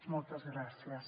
moltes gràcies